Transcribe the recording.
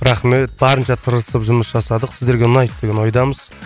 рахмет барынша тырысып жұмыс жасадық сіздерге ұнайды деген ойдамыз